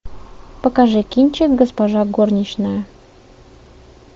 покажи кинчик госпожа горничная